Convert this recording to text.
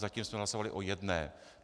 Zatím jsme hlasovali o jedné.